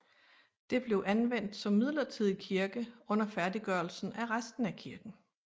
Det blev anvendt som midlertidig kirke under færdiggørelsen af resten af kirken